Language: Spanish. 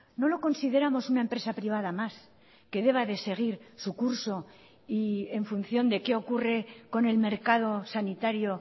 no lo consideramos una empresa privada más que deba de seguir su curso y en función de qué ocurre con el mercado sanitario